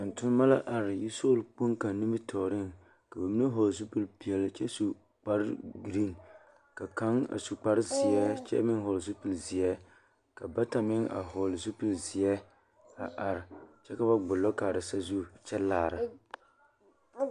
Vūū tontonemɔ la are sola kpoŋ kaŋ nimitɔɔre ka ba mine hɔɔle zupilipeɛle kyɛ su kparɡereen ka kaŋ a su kparzeɛ kyɛ meŋ hɔɔle zupilizeɛ ka bata meŋ hɔɔle zupilizeɛ a are kyɛ ka ba ɡbulɔ kaara sazu kyɛ laara.